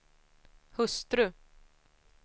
hustru